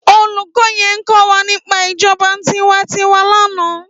Ólúkò yèn kòwá nipá ijòbá tiwántìwá làná